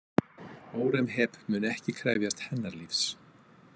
Hóremheb mun ekki krefjast hennar lífs.